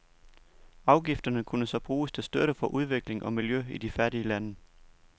Afgifterne kunne så bruges til støtte for udvikling og miljø i de fattige lande.